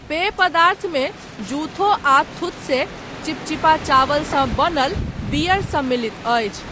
पेय पदार्थमे ज़ुथो आ थुत्से, चिपचिपा चावलसँ बनल बियर सम्मिलित अछि।